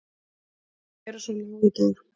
Þau eru svo lág í dag.